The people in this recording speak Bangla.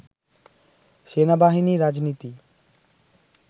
সেনাবাহিনী রাজনীতি